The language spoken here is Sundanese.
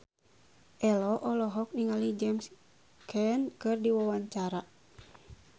Ello olohok ningali James Caan keur diwawancara